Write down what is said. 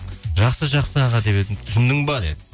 жақсы жақсы аға деп едім түсіндің бе деді